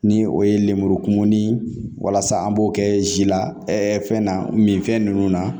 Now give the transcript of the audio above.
Ni o ye lemuru kumuni walasa an b'o kɛ zi la fɛn na min fɛn nunnu na